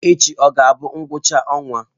Echi ọ ga-abụ ngwụcha ọnwa?